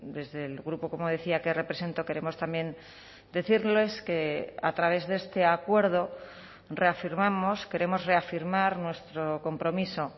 desde el grupo como decía que represento queremos también decirles que a través de este acuerdo reafirmamos queremos reafirmar nuestro compromiso